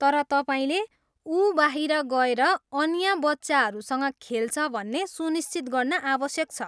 तर तपाईँले उ बाहिर गएर अन्य बच्चाहरूसँग खेल्छ भन्ने सुनिश्चित गर्न आवश्यक छ।